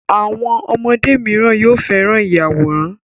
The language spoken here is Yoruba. Àwọn ọmọdé míràn yóò féràn Ìyàwòrán.